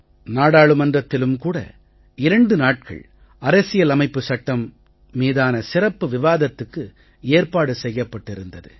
நாடாளுமன்றத்திலும் கூட 2 நாட்கள் அரசியல் அமைப்புச் சட்டம் மீதான சிறப்பு விவாதத்துக்கு ஏற்பாடு செய்யப்பட்டிருந்தது